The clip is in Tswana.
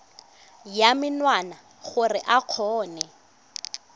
ya menwana gore o kgone